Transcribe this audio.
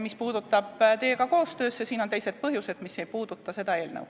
Mis puudutab teiega koostööd, siis siin on teised põhjused, mis ei puuduta seda eelnõu.